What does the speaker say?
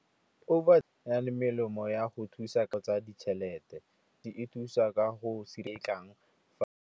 Over e nang le melemo ya go thusa tsa ditšhelete, e thusa ka go se kang.